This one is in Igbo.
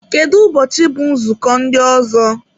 Kedụ ụbọchị bụ nzukọ ndị ọzọ?